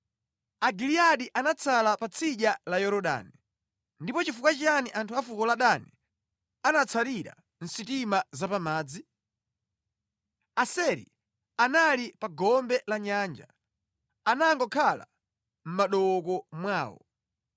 Agiliyadi anatsala pa tsidya la Yorodani. Ndipo nʼchifukwa chiyani anthu afuko la Dani anatsarira mʼsitima za pa madzi? Aseri anali pa gombe la Nyanja; anangokhala mʼmadooko mwawo.